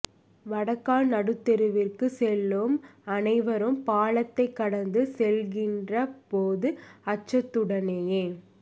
வடகால் நடுத்தெருவிற்கு செல்லும் அனைவரும் பாலத்தை கடந்து செல்கின்ற போது அச்சத்துடனேயே